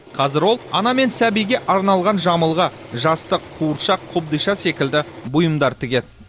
қазір ол ана мен сәбиге арналған жамылғы жастық қуыршақ қобдиша секілді бұйымдар тігеді